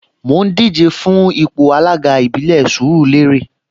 Mò ń díje fún ipò alága ìbílẹ̀ Sùúrùlérè